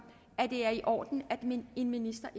at det er i orden at en minister